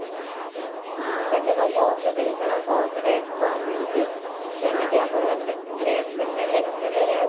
ସେଠିତ ବହୁତ ଜିନିଷର ବହୁତ rate କମ ନିଅନ୍ତି ଯେମିତି ଆମର jacket ଦିଲ୍ଲୀ ରେ ଦିଲ୍ଲୀରେ